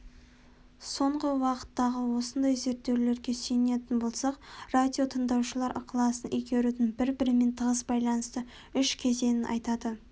соңғы уақыттағы осындай зерттеулерге сүйенетін болсақ радиотыңдаушылар ықыласын игерудің бір-бірімен тығыз байланысты үш кезеңін атайды